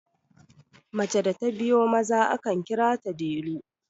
mace da ta biyo Maza akan kira ta delu